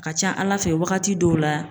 Ka ca ala fɛ wagati dɔw la